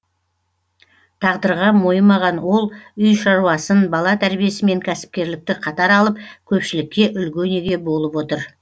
тағдырға мойымаған ол үй шаруасын бала тәрбиесі мен кәсіпкерлікті қатар алып көпшілікке үлгі өнеге болып отыр